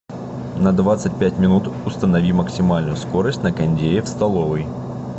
на двадцать пять минут установи максимальную скорость на кондее в столовой